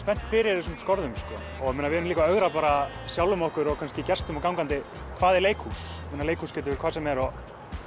spennt fyrir þessum skorðum og við erum líka að ögra sjálfum okkur og kannski gestum og gangandi hvað er leikhús leikhús getur verið hvað sem er og